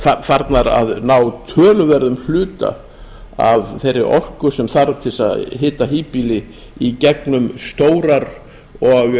eru farnar að ná töluverðum hluta af þeirri orku sem þarf til að hita híbýli í gegnum stórar og